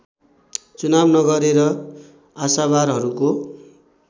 चुनाव नगरेर आशावारहरूको